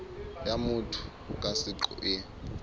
ya motho ka seqo e